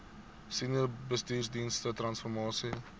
senior bestuursdienste transformasie